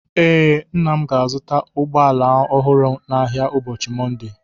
Ee, nna m ga-azụta ụgbọ ala ọhụrụ n'ahịa n'ụbọọchi Mọnde.